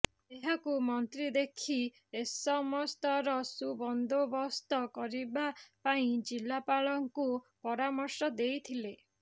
ଏହାକୁ ମନ୍ତ୍ରୀ ଦେଖି ଏସମସ୍ତର ସୁବନ୍ଦୋବସ୍ତ କରିବା ପାଇଁ ଜିଲାପାଳଙ୍କୁ ପରାମର୍ଶ ଦେଇଥିଲେ